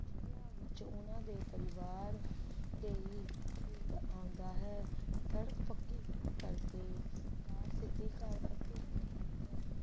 ਛੁੱਟੀਆਂ ਦੇ ਵਿਚ ਉਹਨਾਂ ਦਾ ਪਰਿਵਾਰ ਹੀ ਪਿੰਡ ਆਉਂਦਾ ਹੈ ਸੜਕ ਪਕੀ ਹੋਣ ਕਰਕੇ ਕਾਰ ਸਿੱਧੀ ਘਰ ਦੇ ਵਿੱਚ ਆਉਂਦੀ ਹੈ